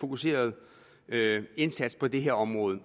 fokuserede indsats på det her område